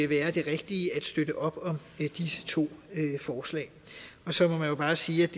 være det rigtige at støtte op om disse to forslag så må man jo bare sige at